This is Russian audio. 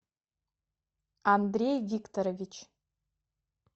андрей викторович